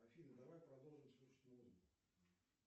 афина давай продолжим слушать музыку